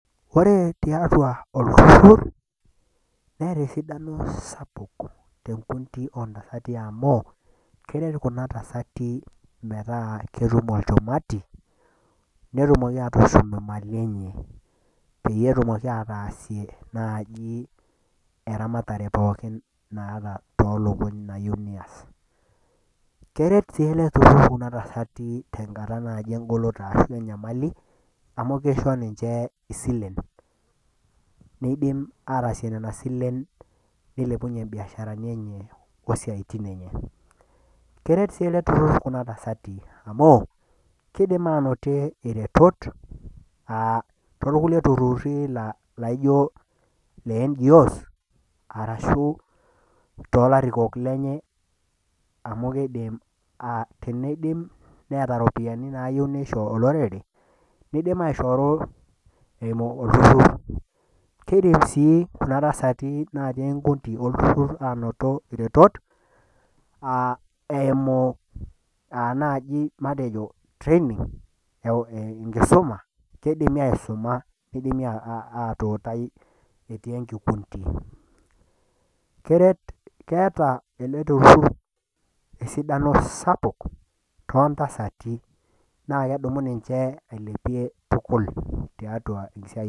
Ore tiatua olturur neeta esidano sapuk teweji ontasati amu keret kuna tasati netum olchumati netum nena mali enye peyie etum ataasie eramatare pookin naata toolukuny nayieu neias ,keret sii ele turur Kuna tasati tenkata engoloto ashu tenkata enyamali amu kisho isilen, nitumiya nina silen ailepunyie mbiasharani enye isiaitin enye ,keret sii ele turur Kuna tasati amu kidimi aanoto iretot torkulie tururi laijo le NGOs ashua toolarikok lenye, amu teneeta ropiyiani nayieu neisho olorere loltururi ,kidimi sii kuna tasati anoto retot eimu naaji matejo training eimu enkisuma ,keidimi aisuma neidimi atuutai etii enkikunti, keeta ele turur esidano sapuk tontasati naa kedumunye ninche eilepie tukul.